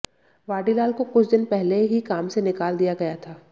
वाडीलाल को कुछ दिन पहले ही काम से निकाल दिया गया था